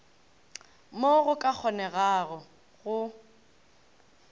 mo go ka kgonegago go